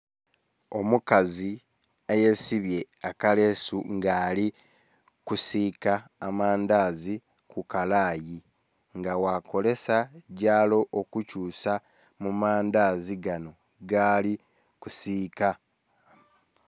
Omukazi ayesibye akaleesu nga alikusiika amandhazi kukalayi nga bakozesa gyalo okukyusa mumandhazi ganho gali kusiika.